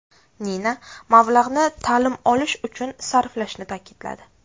Nina mablag‘ni ta’lim olish uchun sarflashini ta’kidladi.